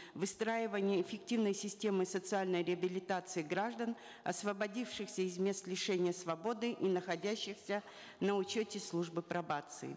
выстраивание эффективной системы социальной реабилитации граждан освободившихся из мест лишения свободы и находящихся на учете службы пробации